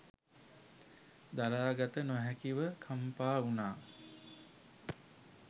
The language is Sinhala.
දරාගත නොහැකිව කම්පා වුණා.